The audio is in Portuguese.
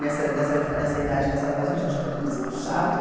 Nessa nessa nessa idade, nessa fase, a gente achava tudo isso muito chato.